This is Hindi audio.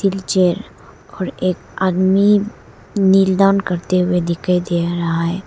व्हीलचेयर और एक आदमी निल दान करते हुए दिखाई दे रहा है।